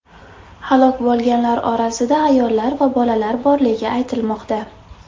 Halok bo‘lganlar orasida ayollar va bolalar borligi aytilmoqda.